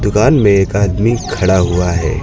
दुकान में एक आदमी खड़ा हुआ है।